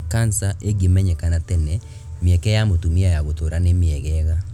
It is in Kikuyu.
Kansa ĩngĩmenyekana tene, mĩeke ya mũtumia ya gũtũra nĩ mĩegega